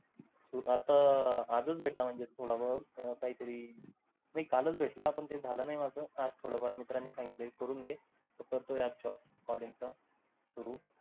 आता आजच भेटला मन्झे थोडा बोहुत काही तरी कालच भेटला पण झाल नाही माझ आज थोड फार मित्रांनी सांगितल करून घे करतोय आजच्या आज चालेल चालेल तर टो room